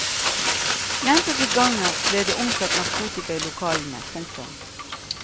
Gjentatte ganger ble det omsatt narkotika i lokalene. punktum